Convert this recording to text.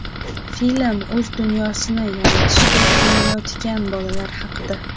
Film o‘z dunyosini yaratishga urinayotgan bolalar haqida.